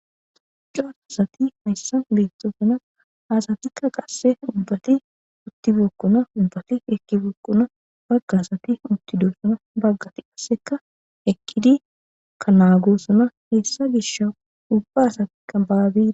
Daro asati haysan beetosona ha asatika qase ubbati uttibeykona ubbati eqibeykona bagati uttidosona baga asati qase eqidika naagosona hessa gishaw ibba asatika baagaw...